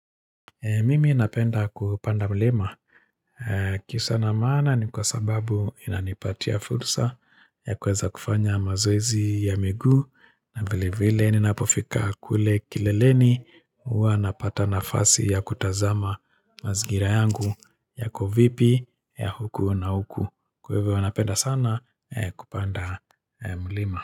Mimi napenda kupanda mlima. Kiusa na maana ni kwa sababu inanipatia fursa ya kuweza kufanya mazoezi ya miguu na vile vile ninapofika kule kileleni uwa napata nafasi ya kutazama mazingira yangu yako vipi ya huku na huku. Kwa hivyo huwa napenda sana kupanda mlima.